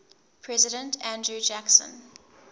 president andrew jackson